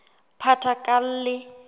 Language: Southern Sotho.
phathakalle